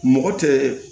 Mɔgɔ tɛ